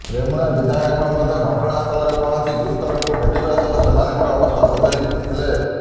ରେମୁଣା ବିଧାୟକ ମଧ୍ୟ ଘଟଣାସ୍ଥଳରେ ପହଞ୍ଚି ଗୁରୁତରଙ୍କୁ ଭେଟିବା ସହ ସେମାନଙ୍କ ଅବସ୍ଥା ପଚାରି ବୁଝିଥିଲେ